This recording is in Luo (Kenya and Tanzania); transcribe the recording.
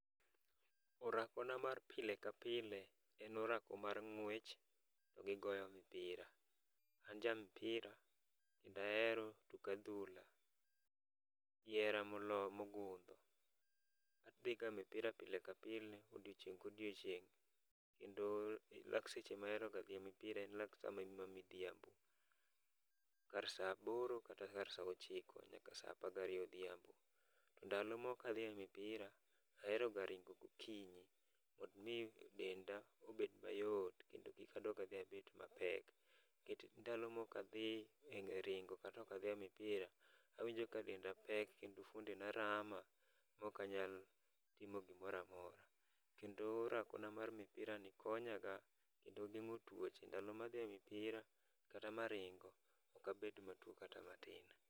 Orako na mar pile ka pile en orako mar ng'wech to gi goyo mpira. An ja mpira kendo ahero tuk adhula gi hera mogundho. Adhiga mpira pile kapile , odiechieng' ka odiechieng' kendo lak seche ma ahero ga dhi e mpira en lak seche ma midhiambo. Kar saa aboro kata saa ochiko nyaka saa apar gariyo odhiambo. Ndalo ma ok adhi e mpira to aheroga ringo gokinyi mondo mi denda obed mayot kendo kik adog adhi abed mapek. Nikech ndalo ma ok adhi e ringo kata ok adhi e mpira, to awinjo ka denda pek kendo fuondena rama maok anyal timo gimoro amora, kendo orako na mar mpirani konyaga kendo ogeng'o tuoche. Ndalo ma adhi e mpira kata maringo ok abed matuo kata matin.